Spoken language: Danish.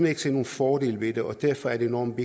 ikke se nogen fordele ved dem og derfor er det enormt